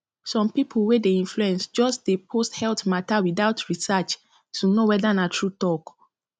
some people wey dey influence just dey post health matter without research to know whether na true talk